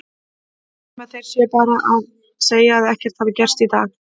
Nema þeir séu bara að segja að ekkert hafi gerst í dag.